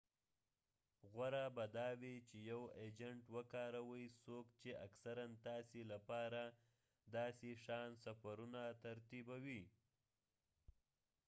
غوره به دا وي چی یو اجنټ وکاروئ څوک چی اکثراً تاسي لپاره داسی شان سفرونه ترتیبوي